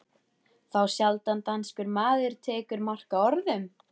Þá sjaldan danskur maður tekur mark á orðum